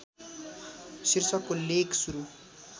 शीर्षकको लेख सुरु